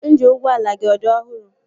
Ịnjini ụgbọala gị ọ dị ọhụrụ?